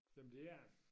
Jamen det er den